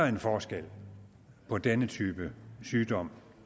en forskel på denne type sygdom